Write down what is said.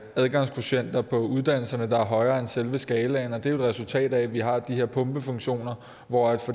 og adgangskvotienter på uddannelserne der er højere end selve skalaen og det er resultat af at vi har de her pumpefunktioner hvor